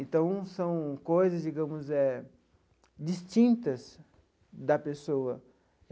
Então, são coisas, digamos eh, distintas da pessoa.